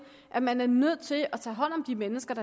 at man er nødt til at tage hånd om de mennesker